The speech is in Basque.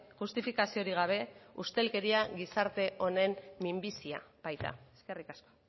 justifikaziorik gabe ustelkeria gizarte honen minbizia baita eskerrik asko